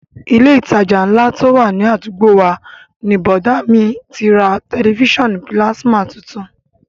Ilé ìtajà ńlá tó wà ní àdúgbò wa ni bọ̀dá à mi ti ra tẹ̀lifísàn pílásímà tuntun